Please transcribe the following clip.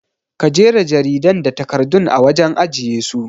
Ka jera jaridan da takardun a wajen ajiye su